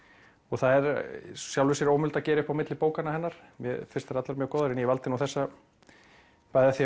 það er í sjálfu sér ómögulegt að gera upp á milli bókanna hennar mér finnst þær allar mjög góðar en valdi þessa bæði af því